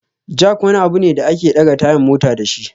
Jack wani abu ne da ake ɗaga tayan mota dashi